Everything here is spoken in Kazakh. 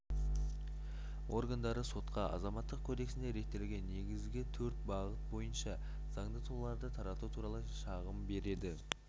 органдары сотқа азаматтық кодексінде реттелген негізгі төрт бағыт бойынша заңды тұлғаларды тарату туралы шағым береді